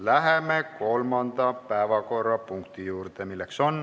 Läheme kolmanda päevakorrapunkti juurde.